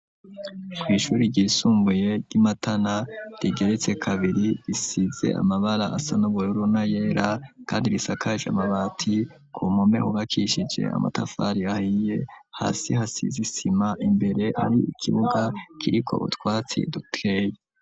Kw'ishure ryisumbuye ry'Imatana rigeretse kabiri, risize amabara asa n'ubururu n'ayera kandi risakaje amabati, ku mpome hubakishije amatafari ahiye, hasi hasize isima, imbere ari ikibuga kiriko utwatsi duteye.